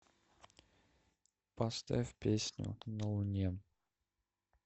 поставь песню на луне